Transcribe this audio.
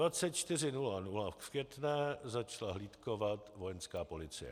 Ve 24.00 v Květné začala hlídkovat Vojenská policie.